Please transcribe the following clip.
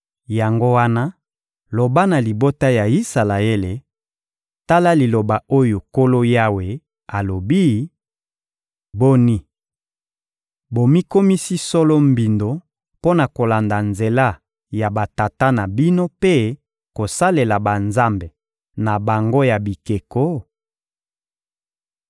Yango wana, loba na libota ya Isalaele: ‹Tala liloba oyo Nkolo Yawe alobi: Boni, bomikomisi solo mbindo mpo na kolanda nzela ya batata na bino mpe kosalela banzambe na bango ya bikeko?